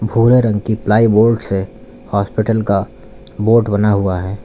भूरे रंग की प्लाईवुड से हॉस्पिटल का बोर्ड बना हुआ है।